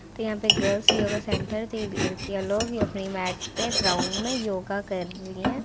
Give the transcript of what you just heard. तो यहाँ पे गर्ल्स योगा सेंटर थी लड़किया लोग अपनी मैट पे ग्राउन्ड मे योगा कर रही है।